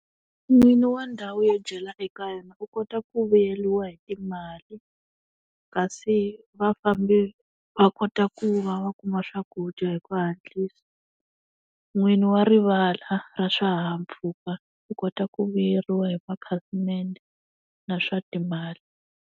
N'winyi wa ndhawu yo dyela eka yona u kota ku vuyeriwa hi timali, kasi vafambi, wa kota ku va va kuma swakudya hi ku hatlisa. N'winyi wa rivala ra swihahampfhuka u kota ku vuyeriwa hi makhasimende na swa timali.